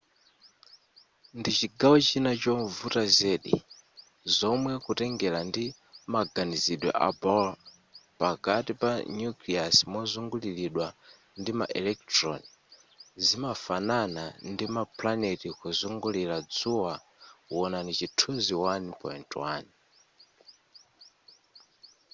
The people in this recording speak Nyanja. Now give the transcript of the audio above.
ndichigawo china chovuta zedi zomwe kutengera ndi maganizidwe a bohr pakati pa nucleus mozungulilidwa ndima electron zimafanana ndima planet kuzungulira dzuwa wonani chithuzi 1.1